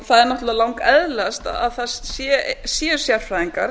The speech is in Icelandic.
það er náttúrlega langeðlilegast að það séu sérfræðingar